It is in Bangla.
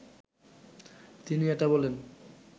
তিনি এটা বলেন